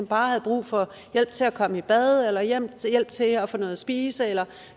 bare havde brug for hjælp til at komme i bad eller hjælp til at få noget at spise eller